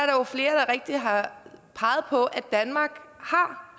rigtigt har peget på at danmark